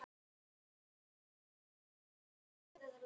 Þín dóttir, Auður.